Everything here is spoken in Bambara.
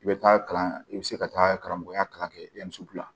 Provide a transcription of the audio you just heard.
I bɛ taa kalan i bɛ se ka taa karamɔgɔya kalan kɛ